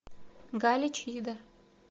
галич ида